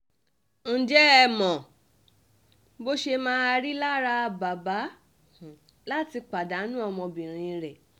ǹjẹ́ ẹ mọ bó ṣe máa rí lára bàbá láti pàdánù ọmọbìnrin rẹ̀